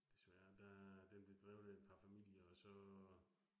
Desværre der. Den blev drevet af et par familier og så